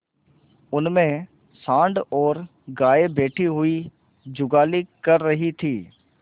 उनमें सॉँड़ और गायें बैठी हुई जुगाली कर रही थी